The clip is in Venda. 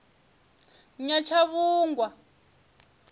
nyatshavhungwa